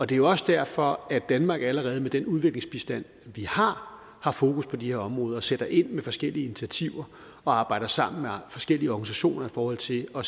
det er jo også derfor at danmark allerede med den udviklingsbistand vi har har fokus på de her områder og sætter ind med forskellige initiativer og arbejder sammen med forskellige organisationer i forhold til at